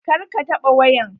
Kar ka taɓa wayan.